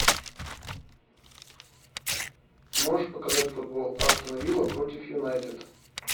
можешь показать футбол астон вилла против юнайтед